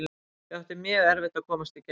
Við áttum mjög erfitt að komast í gegn.